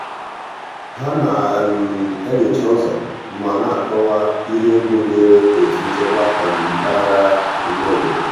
ha na-enyocha ụzọ ma na-akọwa ihe egwu dịịrị otu nchekwa mpaghara ime obodo.